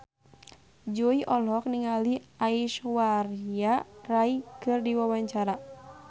Jui olohok ningali Aishwarya Rai keur diwawancara